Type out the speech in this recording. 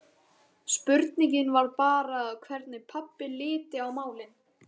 Spurningin var bara hvernig pabbi liti á málin.